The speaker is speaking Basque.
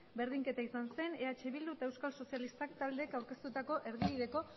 berdinketa izan zen eh bildu eta euskal sozialistak taldeek aurkeztutako erdibideko